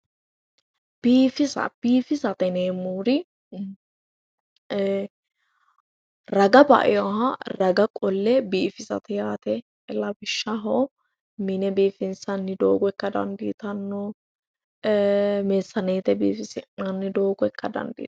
Biifisa biifisate yineemmori raga ba"eyoha raga qolle biifisate yaate lawishshaho mine biifinsanni doogo ikka dandiitanno meessaneete biifisi'nanni doogo ikka dandiitanno